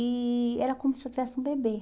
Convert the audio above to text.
E era como se eu tivesse um bebê.